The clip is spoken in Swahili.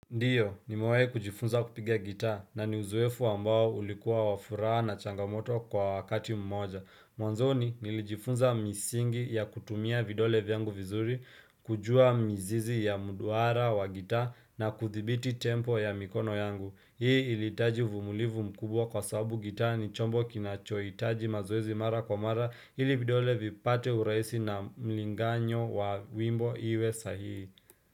Ndiyo, nimewahi kujifunza kupiga gitaa na ni uzoefu ambao ulikuwa wa furaha na changamoto kwa wakati mmoja. Mwanzoni, nilijifunza misingi ya kutumia vidole vyangu vizuri, kujua mizizi ya mduara wa gitaa na kuthibiti tempo ya mikono yangu. Hii ilihitaji uvumulivu mkubwa kwa sababu gitaa ni chombo kinachohitaji mazoezi mara kwa mara ili vidole vipate urahisi na mlinganyo wa wimbo iwe sahihi.